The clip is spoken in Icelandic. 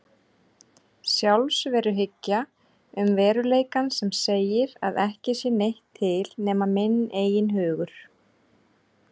Sjálfsveruhyggja um veruleikann sem segir að ekki sé neitt til nema minn eigin hugur.